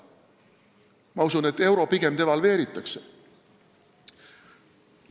Ma usun, et euro pigem devalveeritakse.